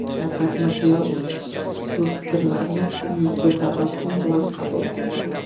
Shavkat Mirziyoyev bu fikrlarni yuzda tabassum bilan qabul qilgan.